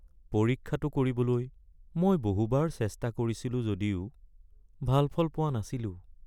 পৰীক্ষাটো কৰিবলৈ মই বহুবাৰ চেষ্টা কৰিছিলোঁ যদিও ভাল ফল পোৱা নাছিলোঁ।